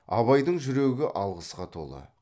абайдың жүрегі алғысқа толы